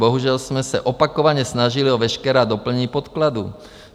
Bohužel jsme se opakovaně snažili o veškerá doplnění podkladů.